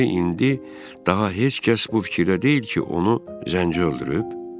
Deməli, indi daha heç kəs bu fikirdə deyil ki, onu Zənci öldürüb?